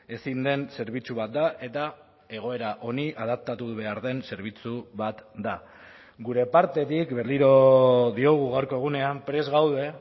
ezin den zerbitzu bat da eta egoera honi adaptatu behar den zerbitzu bat da gure partetik berriro diogu gaurko egunean prest gaude